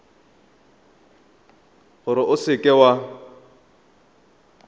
gore o seka w a